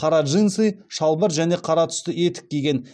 қара джинсы шалбар және қара түсті етік киген